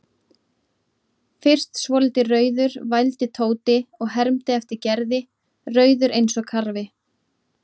Fyrst svolítið rauður vældi Tóti og hermdi eftir Gerði, rauður eins og karfi.